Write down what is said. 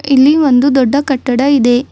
ಇಲ್ಲಿ ಒಂದು ದೊಡ್ಡ ಕಟ್ಟಡ ಇದೆ.